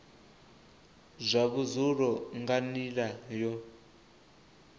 zwa vhudzulo nga nila yo